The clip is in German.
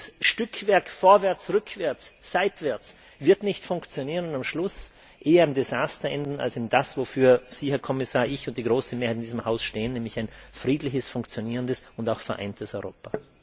Dieses Stückwerk vorwärts, rückwärts, seitwärts wird nicht funktionieren und am Schluss eher im Desaster enden als darin, wofür Sie, Herr Kommissar, ich und die große Mehrheit in diesem Haus sich einsetzen, nämlich ein friedliches, funktionierendes und auch vereintes Europa.